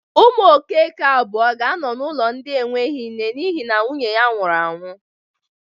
Ụmụ Okeke abụọ ga-anọ n'ụlọ ndị enweghi nne n'ihi na nwunye nwụrụ anwụ.